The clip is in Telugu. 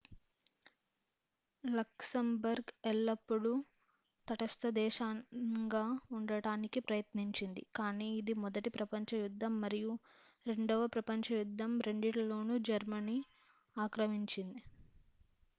లక్సెంబర్గ్ ఎల్లప్పుడూ తటస్థ దేశంగా ఉండటానికి ప్రయత్నించింది కాని ఇది మొదటి ప్రపంచ యుద్ధం మరియు రెండవ ప్రపంచ యుద్ధం రెండింటిలోనూ జర్మనీ ఆక్రమించింది